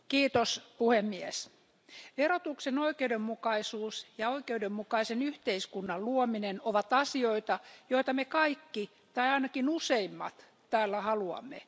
Arvoisa puhemies, verotuksen oikeudenmukaisuus ja oikeudenmukaisen yhteiskunnan luominen ovat asioita, joita me kaikki, tai ainakin useimmat, täällä haluamme.